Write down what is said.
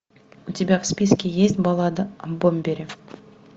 у тебя в списке есть баллада о бомбере